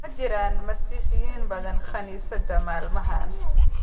Ma jiraan Masiixiyiin badan kaniisaddaha maalmahan